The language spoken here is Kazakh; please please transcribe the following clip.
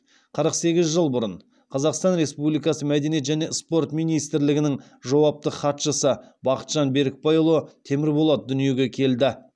қырық сегіз жыл бұрын қазақстан республикасы мәдениет және спорт министрлігінің жауапты хатшысы бақытжан берікбайұлы темірболат дүниеге келді